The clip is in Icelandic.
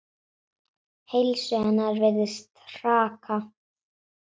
Heilsu hennar virðist hraka.